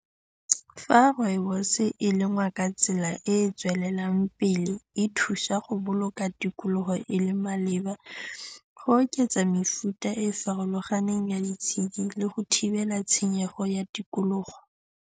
Fa rooibos e lengwa ka tsela e e tswelelang pele, e thusa go boloka tikologo e le maleba go oketsa mefuta e e farologaneng ya ditshedi le go thibela tshenyego ya tikologo.